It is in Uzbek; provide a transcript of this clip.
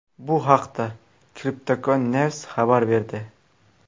Bu haqda CryptocoinNews xabar berdi .